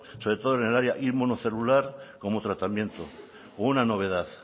sobre todo en el área inmunocelular como tratamiento una novedad